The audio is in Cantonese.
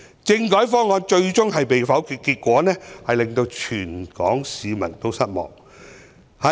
政改方案最終被否決，結果令全港市民失望。